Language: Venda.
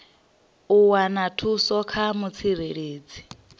u wana thuso kha mutsireledzi